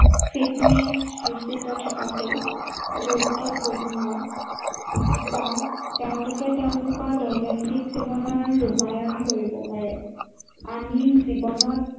fitness ৰুচিত থকাটো, গুৰুত্বপূৰ্ণ। বা তেওঁলোকে তেওঁলোকৰ দৈনন্দিন জীৱনৰ ৰূপায়ন কৰিব পাৰে। আমি জীৱনত